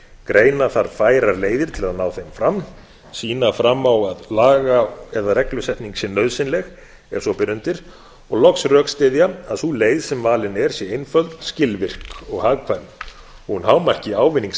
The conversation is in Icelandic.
greina þarf bæta leiðir til að ná þeim fram sýna fram á að laga eða reglusetning sé nauðsynleg ef svo ber undir og loks rökstyðja að sú leið sem valin er sé einföld skilvirk og hagkvæm hún hámarki ávinning